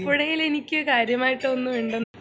ആലപ്പുഴയിൽ എനിക്ക് കാര്യമായിട്ട് ഒന്നും ഇണ്ടെന്ന്